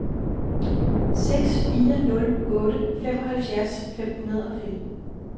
seks fire nul otte femoghalvtreds fem hundrede og femten